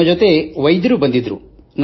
ನಮ್ಮೊಂದಿಗೆ ವೈದ್ಯರೂ ಬಂದಿದ್ದರು